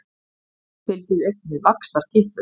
Þessu fylgir einnig vaxtarkippur.